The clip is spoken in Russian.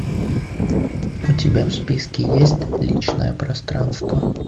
у тебя в списке есть личное пространство